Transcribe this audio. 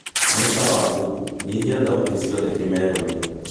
nĩ sawa google nyĩhĩa thaũtĩ cĩothe kimero-ini